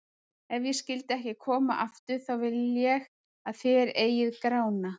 Ef ég skyldi ekki koma aftur, þá vil ég að þér eigið Grána.